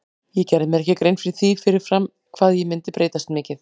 Ég gerði mér ekki grein fyrir því fyrir fram hvað ég myndi breytast mikið.